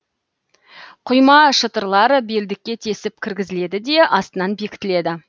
құйма шытыралар белдікке тесіп кіргізіледі де астынан бекітіледі